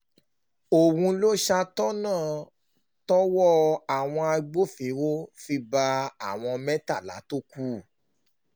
òun ló ṣàtọ̀nà tọ́wọ́ àwọn agbófinró fi bá àwọn mẹ́tàlá tó kù